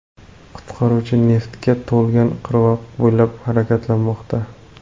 Qutqaruvchi neftga to‘lgan qirg‘oq bo‘ylab harakatlanmoqda.